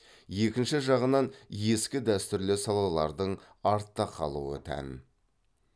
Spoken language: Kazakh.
екінші жағынан ескі дәстүрлі салалардың артта қалуы тән